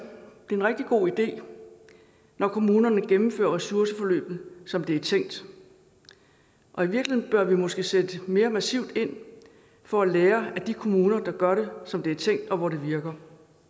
god idé når kommunerne gennemfører ressourceforløbet som det er tænkt og i virkeligheden bør vi måske sætte mere massivt ind for at lære af de kommuner der gør det som det er tænkt og hvor det virker